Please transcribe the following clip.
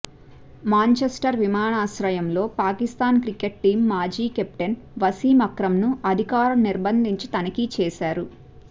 Manchester విమానాశ్రయంలో Pakistan cricket team మాజీ captain Wasim Akram ను అధికారులు నిర్భందించి తనిఖీ చేశారు